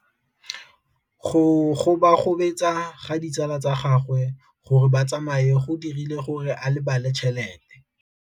Go gobagobetsa ga ditsala tsa gagwe, gore ba tsamaye go dirile gore a lebale tšhelete.